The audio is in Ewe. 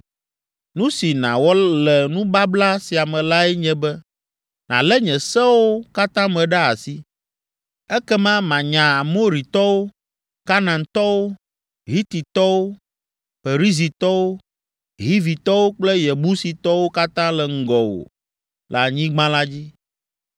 Nu si nàwɔ le nubabla sia me lae nye be nàlé nye seawo katã me ɖe asi. Ekema manya Amoritɔwo, Kanaantɔwo, Hititɔwo, Perizitɔwo, Hivitɔwo kple Yebusitɔwo katã le ŋgɔwò le anyigba la dzi.